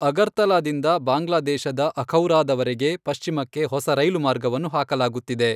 ಅಗರ್ತಲಾದಿಂದ ಬಾಂಗ್ಲಾದೇಶದ ಅಖೌರಾದ ವರೆಗೆ ಪಶ್ಚಿಮಕ್ಕೆ ಹೊಸ ರೈಲು ಮಾರ್ಗವನ್ನು ಹಾಕಲಾಗುತ್ತಿದೆ.